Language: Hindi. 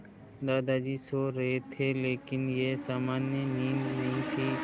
दादाजी सो रहे थे लेकिन यह सामान्य नींद नहीं थी